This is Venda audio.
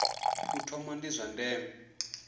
u thoma ndi zwa ndeme